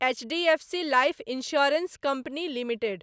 HDFC Life Insurance Company limited